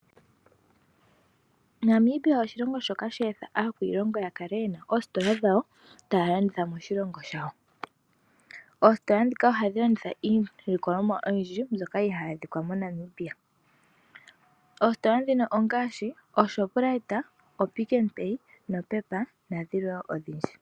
Namibia oshilongo shoka she etha aakwiilongo ya kale yena oositola dhawo taya landitha moshilongo shayo. Oositola ndhika ohadhi landitha iilikolomwa oyindji mbyoka ihayi adhika moNamibia. Oositola ndhino ongaashi oShoprite, oPicknPay noPep nadhilwe wo odhindji.